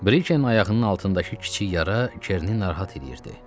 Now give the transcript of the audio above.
Brike'nin ayağının altındakı kiçik yara Kerini narahat eləyirdi.